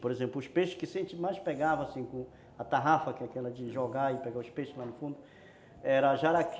Por exemplo, os peixes que a gente mais pegava com a tarrafa, que era aquela de jogar e pegar os peixes lá no fundo, era jaraqui,